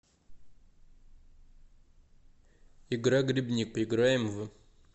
игра грибник поиграем в